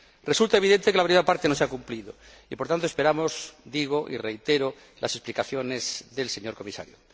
Resulta evidente que la primera parte no se ha cumplido y, por tanto, esperamos digo y reitero las explicaciones del señor Comisario.